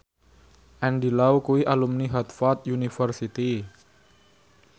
Andy Lau kuwi alumni Harvard university